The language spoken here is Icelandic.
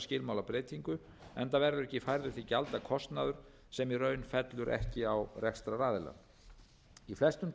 skilmálabreytingu enda verður ekki færður til gjalda kostnaður sem í raun fellur ekki á rekstraraðilann í flestum